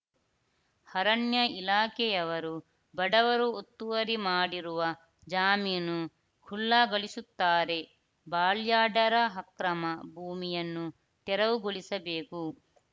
ಅರಣ್ಯ ಇಲಾಖೆಯವರು ಬಡವರು ಒತ್ತುವರಿ ಮಾಡಿರುವ ಜಾಮೀನು ಖುಲ್ಲಾಗೊಳಿಸುತ್ತಾರೆಬಾಲ್ಯಾಡರ ಅಕ್ರಮ ಭೂಮಿಯನ್ನು ತೆರವುಗೊಳಿಸಬೇಕು